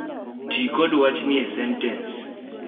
ti kod wachni e sentens